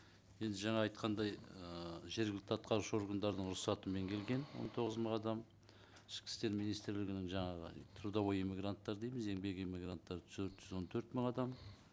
енді жаңа айтқандай ыыы жергілікті атқарушы органдардың рұқсатымен келген он тоғыз мың адам ішкі істер министрлігінің жаңағы трудовой эмигранттар дейміз еңбек эмигранттары төрт жүз он төрт мың адам